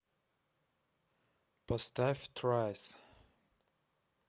поставь трайс